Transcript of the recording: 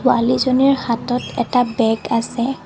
ছোৱালীজনীৰ হাতত এটা বেগ আছে।